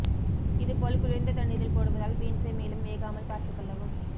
இதுப் போல் குளிர்ந்த தண்ணீரில் போடுவதால் பீன்ஸை மேலும் வேகாமல் பார்த்துக் கொள்ளவும்